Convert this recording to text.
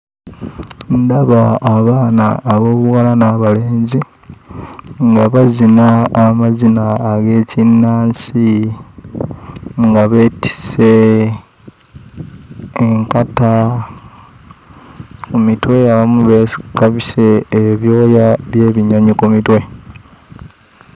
Ndaba abaana ab'obuwala n'abalenzi nga bazina amazina ag'ekinnansi, nga beetisse enkata ku mitwe, abamu beefi babisse ebyoya by'ebinyonyi ku mitwe.